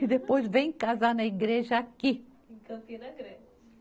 E depois vem casar na igreja aqui. Em Campina Grande